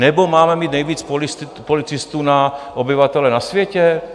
Nebo máme mít nejvíc policistů na obyvatele na světě?